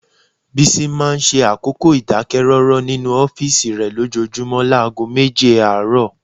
Bísí máa ń ṣe àkókò ìdákẹ́rọ́rọ́ nínú ọ́fíìsì rẹ lójoojúmọ́ láago méje àárọ̀